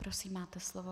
Prosím, máte slovo.